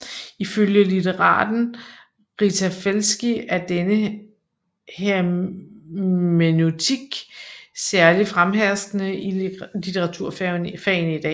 Ifølge litteraten Rita Felski er denne hermeneutik særligt fremherskende i litteraturfagene i dag